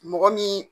Mɔgɔ min